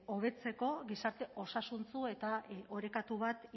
hobetzeko gizarte osasuntsu eta orekatu bat